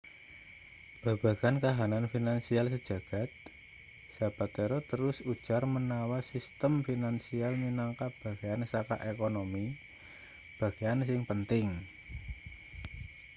babagan kahanan finansial sejagad zapatero terus ujar manawa sistem finansial minangka bagean saka ekonomi bagean sing penting